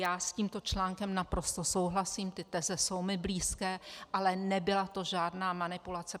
Já s tímto článkem naprosto souhlasím, ty teze jsou mi blízké, ale nebyla to žádná manipulace.